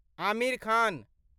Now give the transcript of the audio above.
Aamir Khan